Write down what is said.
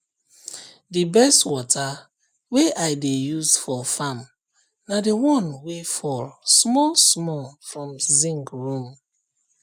the best water wey i dey use for farm na the one wey fall small small from zinc roof